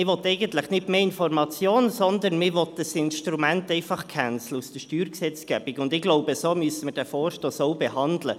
Man will eigentlich nicht mehr Information, sondern man will einfach ein Instrument aus der Steuergesetzgebung canceln, und ich glaube, so müssen wir diesen Vorstoss auch behandeln.